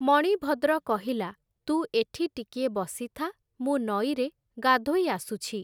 ମଣିଭଦ୍ର କହିଲା, ତୁ ଏଠି ଟିକିଏ ବସିଥା, ମୁଁ ନଈରେ ଗାଧୋଇ ଆସୁଛି ।